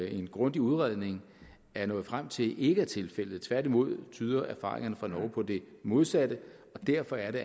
en grundig udredning er nået frem til ikke vil være tilfældet tværtimod tyder erfaringerne fra norge på det modsatte og derfor er det